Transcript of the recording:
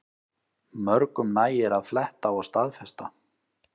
Mörgum nægir að fletta og staðfesta